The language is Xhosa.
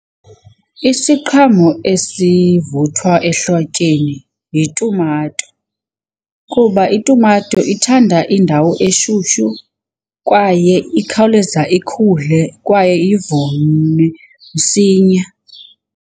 Isiqhamo esivuthwa ehlotyeni yitumato kuba itumato ithanda indawo eshushu kwaye ikhawuleza ikhule kwaye msinya.